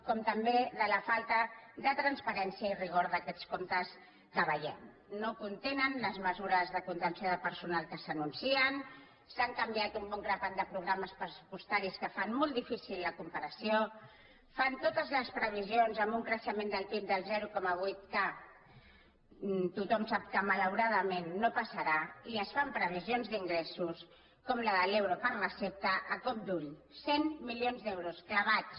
com també de la falta de transparència i rigor d’aquests comptes que veiem no contenen les mesures de contenció de personal que s’anuncien s’han canviat un bon grapat de programes pressupostaris que fan molt difícil la comparació fan totes les previsions amb un creixement del pib del zero coma vuit que tothom sap que malauradament no passarà i es fan previsions d’ingressos com la de l’euro per recepta a cop d’ull cent milions d’euros clavats